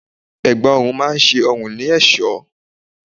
Ẹ̀gbá ọrùn máa ń ṣe ọrùn ní ẹ̀sọ́.